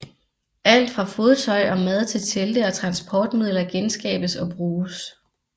Alt fra fodtøj og mad til telte og transportmidler genskabes og bruges